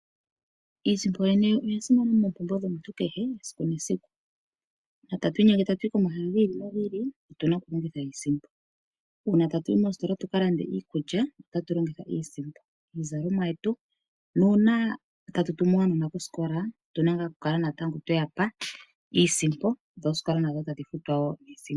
Iisimpo oya simana monkalamwenyo yomuntu kehe esiku nesiku. Sho tatu inyenge ta tu yi komahala gi ili no gi ili otuna oku longitha iisimpo. Uuna tatu yi moositola tuka lande iikulya otuna oku longitha iisimpo , miizalomwa yetu nuuna tatu tumu aanona kosikola otuna kala tweyapa iisimpo dho oosikola natango tadhi futwa woo niisimpo.